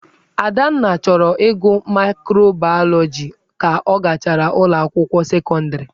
Adanna chọrọ ịgụ maịkrobaịọlogi ka ọ gachara ụlọ akwụkwọ sekọndịrị.